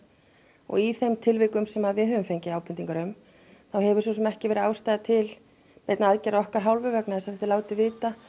og í þeim tilvikum sem við höfum fengið ábendingar um þá hefur svo sem ekki verið ástæða til neinna aðgerða af okkar hálfu vegna þess að það er látið vita